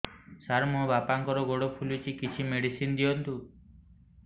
ସାର ମୋର ବାପାଙ୍କର ଗୋଡ ଫୁଲୁଛି କିଛି ମେଡିସିନ ଦିଅନ୍ତୁ